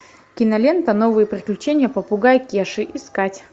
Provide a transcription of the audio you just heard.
кинолента новые приключения попугая кеши искать